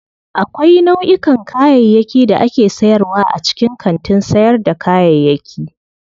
Akwai nau'ikan kayayyaki da ake sayarwa a cikin kantin sayar da kayayyaki.